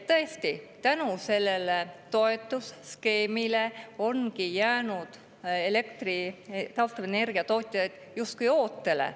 Tõesti, selle toetusskeemi tõttu ongi jäänud taastuvenergia tootjad justkui ootele.